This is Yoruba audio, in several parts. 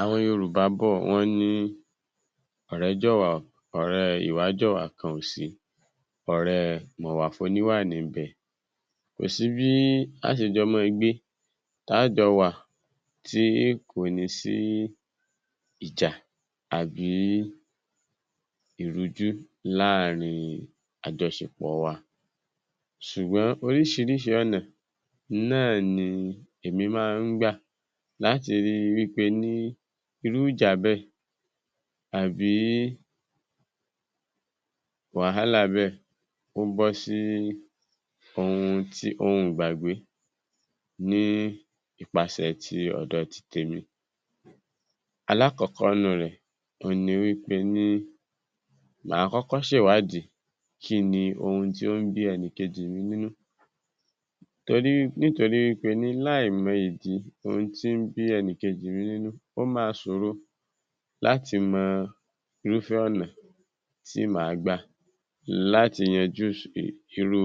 Àwọn Yorùbá bọ́ ọ̀ wọ́n ní ọ̀rẹ́ jọ̀wà, ọ̀rẹ́ ìwájọ̀wà kan ò sí, ọ̀rẹ́ mọ̀wà fóníwà ní ń bẹ, kò sí bí a óò ṣe jọ máa gbé ta jọ wà tí kò ní sí ìjà àbí ìrújú láàárín àjọṣepọ̀ wa, ṣùgbọ́n oríṣìíríṣìí ọ̀nà náà ni èmi máa ń gbà láti rí i wí pe ní irú ìjà bẹ́ẹ̀ bi wàhálà bẹ́ẹ̀ ó ń bọ́ sí ohun tí, ohun ìgbàgbé ní ipaṣẹ̀ ti ọ̀dọ̀ titèmi. Alákọ̀ọ́kọ́ nurẹ̀ ohun ni wí pé ni máa ṣe ìwádìí kí ni ohun tó ń bí ẹnìkejì mi nínú torí nítorí wí pé láì mọ ìdí ohun tó ń bí enìkejì mi nínú, ó máa ṣòro láti mọ irúfẹ́ ọ̀nà tí màá lè gbà láti yanjú irú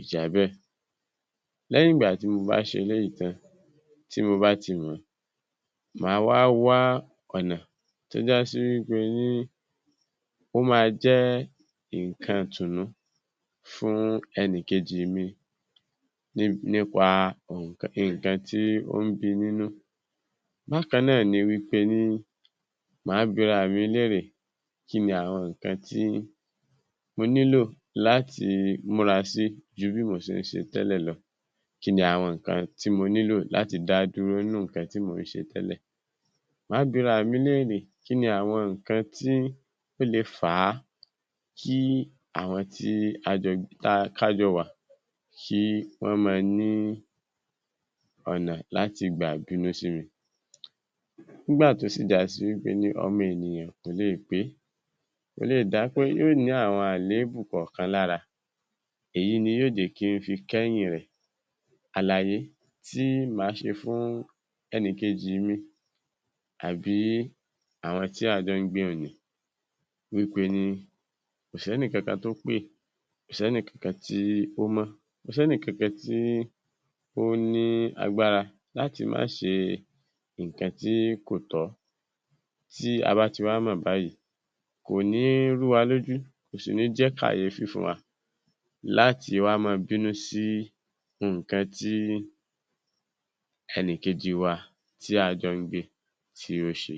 ìjà bẹ́ẹ̀ lẹ́yìn ìgbà tí mo bá ṣe eléyìí tán, tí mo bá ti mọ̀ ọ́n, màá wá wá ọ̀nà tí ó já sí wí pé ní ó máa jẹ́ nǹkan ìtùnú fún ẹnìkejì mi nípa nǹkan tó ń bí i nínú bákan náà ni wí pé ni màá bi ara mi kí ni àwọn nǹkan tí mo nílò láti múra sí ju àwọn nǹkan tí mò ń ṣe tẹ́lẹ̀ lọ kí ni àwọn nǹkan tí mo ní láti dá dúró nínú àwọn nǹkan tí mò ń ṣe tẹ́lẹ̀ lọ, mà á bí ara mi léèrè kí ni àwọn nǹkan tí ó lè fà á kí àwọn tí a jọ wà kí wọ́n máa ní ọ̀nà láti gbà bínú sí mi, nígbà tó jásí kíni, ọmọ ènìyàn kò lè pé, kò lè dá pé yóò ní àwọn àléébù kọ̀ọ̀kan lára, èyí ni yóò jẹ́ kí n fi kẹ́yìn rẹ̀, àlàyé ti máa ṣe fún ẹnìkejì mi àbí àwọn tí a jọ ń gbé ni ni wí pé ní kò sẹ́nìkankan tó pé, kò sí ẹnikankan tó ní agbára láti máa ṣe nǹkankan tí kò tọ́, tí a bá ti wá mọ̀ báyìí, kò ní rú wa lójú, kò sì ní jẹ́ kàyéfì fún wa láti máa bínú sí nǹkan tí ẹnìkejì tí a jọ ń gbé tí ò ṣe.